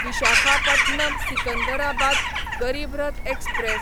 Visakhapatnam Secunderabad Garib Rath express